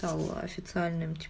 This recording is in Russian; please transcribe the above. тала официальным ти